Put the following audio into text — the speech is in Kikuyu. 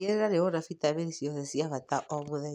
Tigĩrĩra nĩũrona bitamini ciothe cia bata o mũthenya.